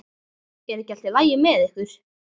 Er ekki allt í lagi með ykkur?